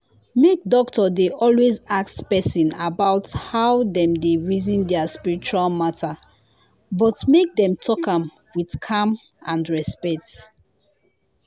make doctor dey always ask person about how dem dey reason their spiritual matter but make dem talk am with calm and respect.